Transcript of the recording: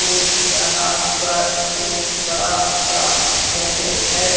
ये यहां पर एक बड़ा सा कैफे है।